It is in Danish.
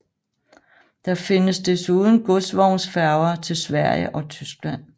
Der findes desuden godsvognsfærger til Sverige og Tyskland